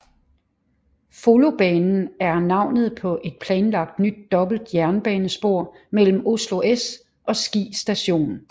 Follobanen er navnet på et planlagt nyt dobbelt jernbanespor mellem Oslo S og Ski Station